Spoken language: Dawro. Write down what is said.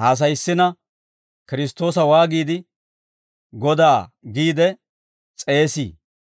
haasayissina Kiristtoosa waagiide, ‹Godaa› giide s'eesii?